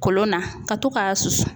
Kolon na, ka to k'a susu.